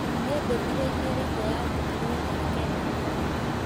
Nĩ ndũmĩrĩri ĩrĩkũ yarutirũo thaa kenda na nuthu